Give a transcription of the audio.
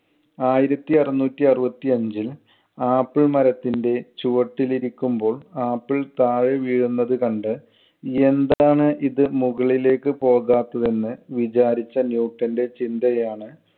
ആയിരത്തി അറുനൂറ്റി അറുപത്തി അഞ്ചിൽ ആപ്പിൾ മരത്തിന്‍റെ ചുവട്ടിൽ ഇരിക്കുമ്പോൾ ആപ്പിൾ താഴേ വീഴുന്നത് കണ്ട് എന്താണ് ഇത് മുകളിലേക്ക് പോകാത്തത് എന്ന് വിചാരിച്ച ന്യൂട്ടന്‍റെ ചിന്തയാണ്